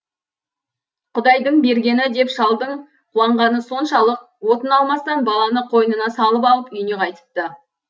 құдайдың бергені деп шалдың қуанғаны соншалық отын алмастан баланы қойнына салып алып үйіне қайтыпты